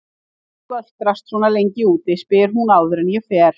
Hvað ertu að göltrast svona lengi úti, spyr hún áður en ég fer.